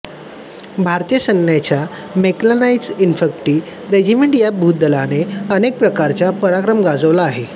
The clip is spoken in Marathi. भारतीय सैन्याच्या मॅकॅनाईज्ड इन्फंट्री रेजिमेंट या भूदलाने अनेक प्रकारचा पराक्रम गाजवला आहे